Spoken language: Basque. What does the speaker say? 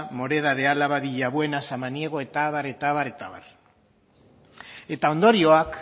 moreda de álava villabuena samaniego eta abar eta abar eta abar eta ondorioak